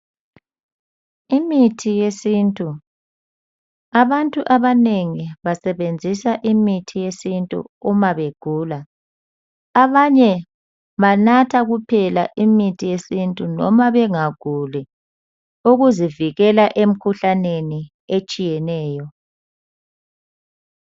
Imithi yesintu. Abantu abanengi basebenzisa imithi yesintu uma begula. Abanye banatha kuphela imithi yesintu noma bengaguli ukuzivikela emkhuhlanene etshiyeneyo.